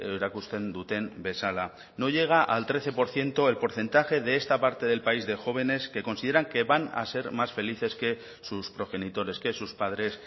erakusten duten bezala no llega al trece por ciento el porcentaje de esta parte del país de jóvenes que consideran que van a ser más felices que sus progenitores que sus padres